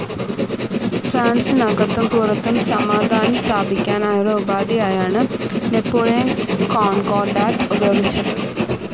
ഫ്രാൻസിനകത്തും പുറത്തും സമാധാനം സ്ഥാപിക്കാനായുള്ള ഉപാധിയായാണ് നാപ്പോളിയൻ കോൺകോർഡാറ്റ്‌ ഉപയോഗിച്ചത്.